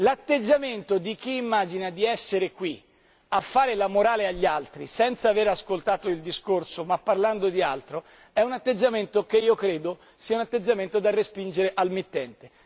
L'atteggiamento di chi immagina di essere qui a fare la morale agli altri, senza aver ascoltato il discorso ma parlando di altro, è un atteggiamento che io credo sia un atteggiamento da respingere al mittente.